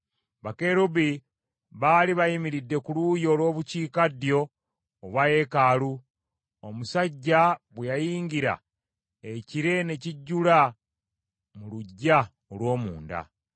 Bakerubi baali bayimiridde ku luuyi olw’Obukiikaddyo obwa yeekaalu; omusajja bwe yayingira ekire ne kijjula mu luggya olw’omunda.